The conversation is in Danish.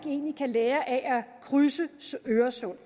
kan lære af at krydse øresund